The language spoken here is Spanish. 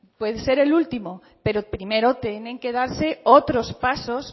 puede ser último pero primero tienen que darse otros pasos